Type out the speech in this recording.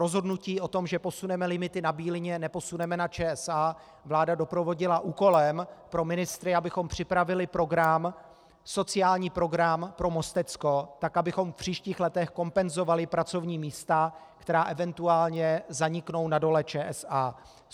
Rozhodnutí o tom, že posuneme limity na Bílině, neposuneme na ČSA, vláda doprovodila úkolem pro ministry, abychom připravili program, sociální program pro Mostecko tak, abychom v příštích letech kompenzovali pracovní místa, která eventuálně zaniknou na Dole ČSA.